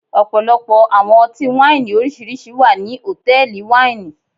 Ọpọlọpọ awọn ọti-waini oriṣiriṣi wa ni hotẹẹli waini